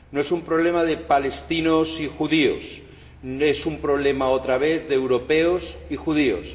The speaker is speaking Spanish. No es un problema de palestinos y judíos es un problema, otra vez, de europeos y judíos.